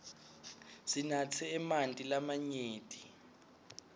sinatse emanti lamanyenti